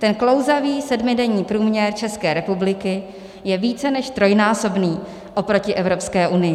Ten klouzavý sedmidenní průměr České republiky je více než trojnásobný oproti Evropské unii.